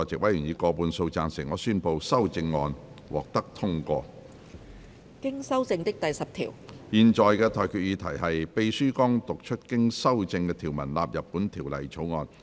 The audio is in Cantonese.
我現在向各位提出的待決議題是：秘書剛讀出經修正的條文納入本條例草案。